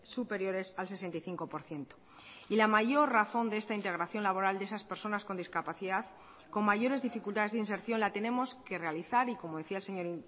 superiores al sesenta y cinco por ciento y la mayor razón de esta integración laboral de esas personas con discapacidad con mayores dificultades de inserción la tenemos que realizar y como decía el señor